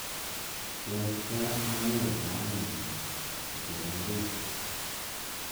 Kiait gaa anyoru kamenyu kotoree ngwek